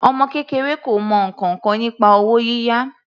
Ọmọ kékeré kò mọ ǹkankan nípa owó yíyá.